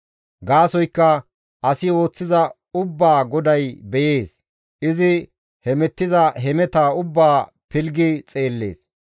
Gaasoykka asi ooththiza ubbaa GODAY beyees; izi hemettiza hemetaa ubbaa pilggi xeellees.